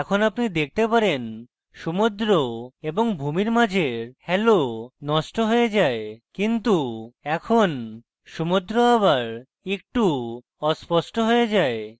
এখন আপনি দেখতে পারেন সমুদ্র এবং ভূমির মাঝের halo নষ্ট হয়ে যায় কিন্তু এখন সমুদ্র আবার একটু অস্পষ্ট হয়ে যায়